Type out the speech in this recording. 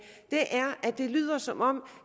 det lyder som om